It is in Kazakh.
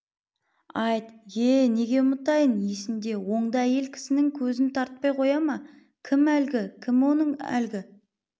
айт ие неге ұмытайын есімде оңды әйел кісінің көзін тартпай қояма кім әлгі кім оның әлгі